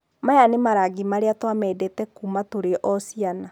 Maya nĩ marangi marĩa tũamendete kuuma tũrĩ-o-ciana.